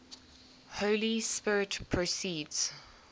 holy spirit proceeds